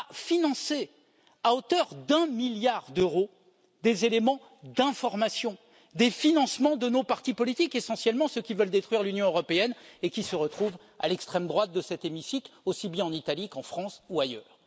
financé, à hauteur d'un milliard d'euros, des éléments d'information, des financements de nos partis politiques, essentiellement ceux qui veulent détruire l'Union européenne et qui se retrouvent à l'extrême droite de cet hémicycle, aussi bien en Italie qu'en France ou ailleurs.